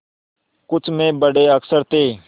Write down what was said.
कुछ में बड़े अक्षर थे